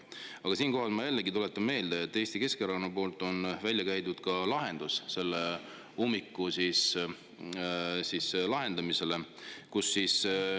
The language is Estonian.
Aga ma jällegi tuletan meelde, et Eesti Keskerakond on välja käinud ka lahenduse selle ummiku jaoks.